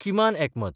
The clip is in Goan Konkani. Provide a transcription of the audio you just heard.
किमान एकमत.